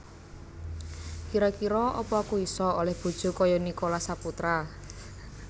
Kiro kiro apa aku iso oleh bojo koyok Nicholas Saputra?